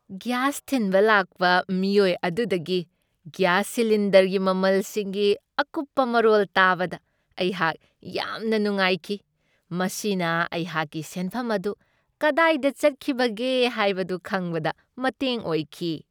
Gas ꯊꯤꯟꯕ ꯂꯥꯛꯄ ꯃꯤꯑꯣꯏ ꯑꯗꯨꯗꯒꯤ ꯒ꯭ꯌꯥꯁ ꯁꯤꯂꯤꯟꯗꯔꯒꯤ ꯃꯃꯜꯁꯤꯡꯒꯤ ꯑꯀꯨꯞꯄ ꯃꯔꯣꯜ ꯇꯥꯕꯗ ꯑꯩꯍꯥꯛ ꯌꯥꯝꯅ ꯅꯨꯡꯉꯥꯏꯈꯤ ꯫ ꯃꯁꯤꯅ ꯑꯩꯍꯥꯛꯀꯤ ꯁꯦꯟꯐꯝ ꯑꯗꯨ ꯀꯗꯥꯏꯗ ꯆꯠꯈꯤꯕꯒꯦ ꯍꯥꯏꯕꯗꯨ ꯈꯪꯕꯗ ꯃꯇꯦꯡ ꯑꯣꯏꯈꯤ ꯫